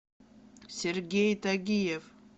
сергей тагиев